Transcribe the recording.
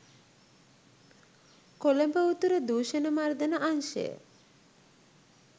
කොළඹ උතුර දූෂණ මර්දන අංශය